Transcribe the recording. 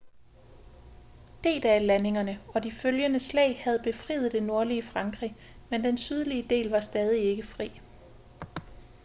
d-dag-landingerne og de følgende slag havde befriet det nordlige frankrig men den sydlige del var stadig ikke fri